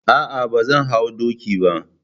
Ah ah, bazan hau doki bah.